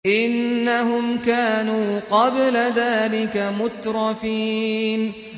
إِنَّهُمْ كَانُوا قَبْلَ ذَٰلِكَ مُتْرَفِينَ